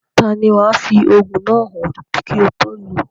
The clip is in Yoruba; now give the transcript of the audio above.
Taani wàá fi òògùn náà hàn kí o tó lòó?